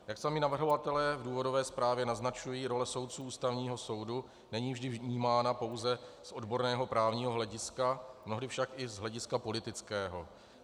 Jak sami navrhovatelé v důvodové zprávě naznačují, role soudců Ústavního soudu není vždy vnímána pouze z odborného právního hlediska, mnohdy však i z hlediska politického.